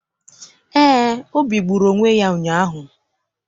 Eé, Obi gburu onwe ya ụnyaahụ.